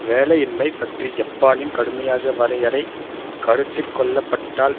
வேலையின்மை பற்றி ஜப்பானின் கடுமையான வரையறை கருத்திற்கொள்ளப்பட்டால்